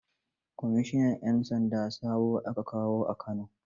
Kwamishinan 'yan sanda sabo aka kawo Kano.